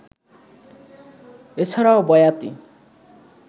এ ছাড়াও বয়াতি